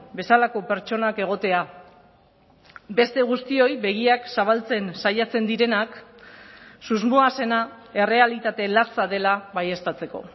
bezalako pertsonak egotea beste guztioi begiak zabaltzen saiatzen direnak susmoa zena errealitate latza dela baieztatzeko